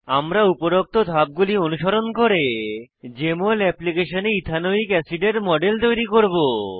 আমরা উপরোক্ত ধাপগুলি অনুসরণ করে জেএমএল এপ্লিকেশনে ইথানোয়িক অ্যাসিডের মডেল তৈরি করব